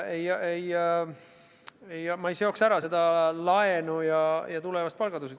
Ma ei seoks laenu ja tulevast palgatõusu.